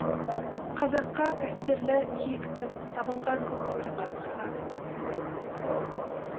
қазаққа қастерлі киікпін табынған көк бөрі қасқырға